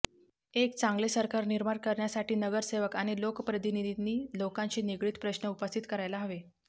एक चांगले सरकार निर्माण करण्यासाठी नगरसेवक आणि लोकप्रतिनिधींनी लोकांशी निगडित प्रश्न उपस्थित करायला हवे